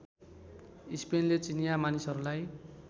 स्पेनले चिनिया मानिसहरूलाई